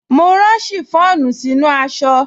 Mo rán ṣìfọ́ònù sínú aṣọ